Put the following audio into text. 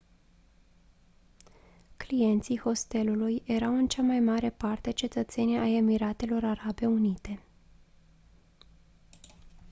clienții hostelului erau în cea mai mare parte cetățeni ai emiratelor arabe unite